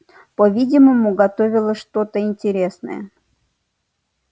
по-видимому готовилось что-то интересное